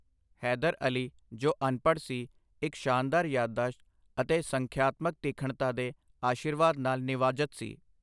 ਹੈਦਰ ਅਲੀ, ਜੋ ਅਨਪੜ੍ਹ ਸੀ, ਇੱਕ ਸ਼ਾਨਦਾਰ ਯਾਦਦਾਸ਼ਤ ਅਤੇ ਸੰਖਿਆਤਮਕ ਤੀਖਣਤਾ ਦੇ ਅਸ਼ੀਰਵਾਦ ਨਾਲ ਨਿਵਾਜਤ ਸੀ।